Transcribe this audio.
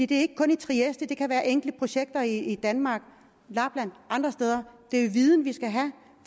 det er ikke kun i trieste det kan være enkelte projekter i danmark lapland og andre steder det er jo viden vi skal have